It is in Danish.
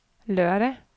lørdag